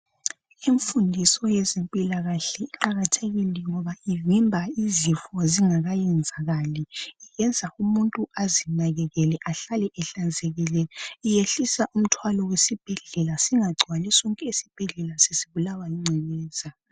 imfundiso yezempilakahle iqakathekile ngoba ivimba izifo zingakayenzakali iyenza umuntu azinakekela ahlale ehlanzekile iyehlisa umthwalo wesibhedlela singagcwali sonke esibhedlela sesibulawa yingcekeza